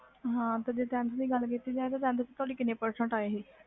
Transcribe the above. ਹਾਂ ਜੇ tenth ਦੀ ਗੱਲ ਕੀਤੀ ਜਾਵੇ ਤਾ tenth ਵਿਚ ਕੀਨੇ percentage ਆ ਸੀ